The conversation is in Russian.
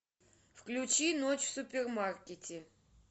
включи ночь в супермаркете